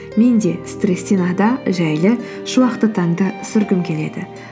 мен де стресстен ада жайлы шуақты таңды сүргім келеді